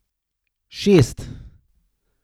Šest.